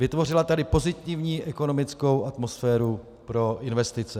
Vytvořila tady pozitivní ekonomickou atmosféru pro investice.